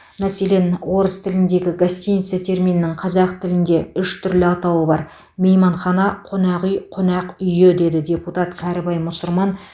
мәселен орыс тіліндегі гостиница терминінің қазақ тілінде үш түрлі атауы бар мейманхана қонақүй қонақ үйі деді депутат кәрібай мұсырман